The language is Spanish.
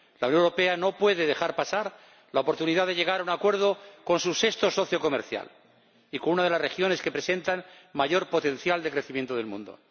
La Unión Europea no puede dejar pasar la oportunidad de llegar a un acuerdo con su sexto socio comercial y con una de las regiones que presentan mayor potencial de crecimiento del mundo.